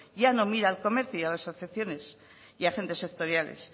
ya no mira al comercio y a las asociaciones y hacen de sectoriales